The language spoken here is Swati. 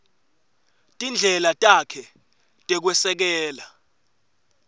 tindlela takhe tekwesekela